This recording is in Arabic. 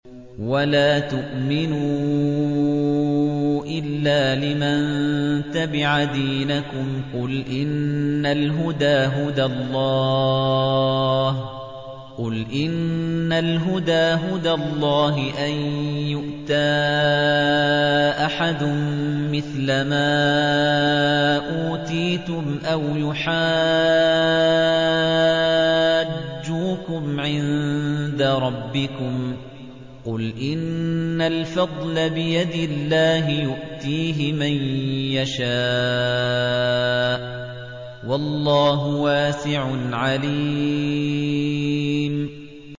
وَلَا تُؤْمِنُوا إِلَّا لِمَن تَبِعَ دِينَكُمْ قُلْ إِنَّ الْهُدَىٰ هُدَى اللَّهِ أَن يُؤْتَىٰ أَحَدٌ مِّثْلَ مَا أُوتِيتُمْ أَوْ يُحَاجُّوكُمْ عِندَ رَبِّكُمْ ۗ قُلْ إِنَّ الْفَضْلَ بِيَدِ اللَّهِ يُؤْتِيهِ مَن يَشَاءُ ۗ وَاللَّهُ وَاسِعٌ عَلِيمٌ